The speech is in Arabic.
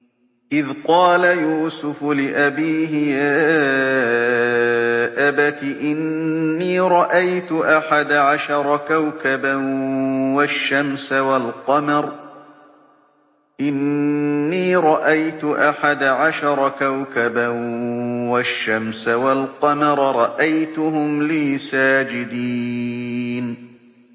إِذْ قَالَ يُوسُفُ لِأَبِيهِ يَا أَبَتِ إِنِّي رَأَيْتُ أَحَدَ عَشَرَ كَوْكَبًا وَالشَّمْسَ وَالْقَمَرَ رَأَيْتُهُمْ لِي سَاجِدِينَ